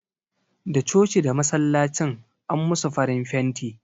Da coci da masallacin an musu farin fenti